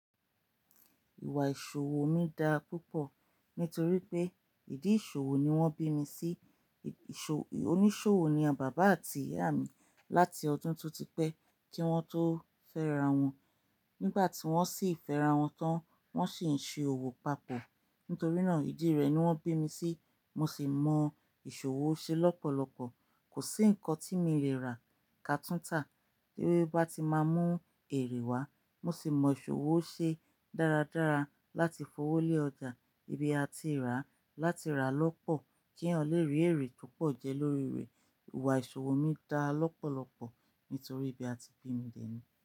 Ìwà ìṣòwò mi dá púpọ̀ nítorí pé ìdí ìṣòwò ni wọ́n bí mi sí. Ìṣòwò, oníṣòwò ni àbàbà àti ìyá mi láti ọdún tó ti pẹ́ tí wọ́n tó fẹ́ra wọn. Nígbà tí wọ́n sì fẹ́ra wọn tán, wọ́n sì ń ṣe òwò papọ̀. Nítorí náà, ìdí rẹ̀ ni wọ́n bí mi sí, mo sì mọ ìṣòwò ṣe lọ́pọ̀lọpọ̀. Kò sí nǹkan tí mi lè rà ká túntà léwé bá ti máa mú èrè wá. Mo sì mọ ìṣòwò ṣe dáradára láti fowó lé ọjà ibi a ti rà láti rà lọ́pọ̀ kí eyan lè rí èrè topọ̀ jẹ lórí rẹ̀. Ìwà ìṣòwò mi dá lọ́pọ̀lọpọ̀ nítorí ibi a ti bí mi dèni.